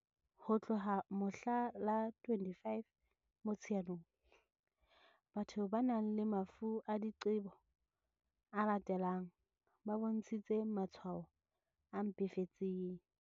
Ho tloha mohla la 25 Mo-tsheanong, batho ba nang le mafu a diqebo a latelang ba bontshitse matshwao a mpefetseng.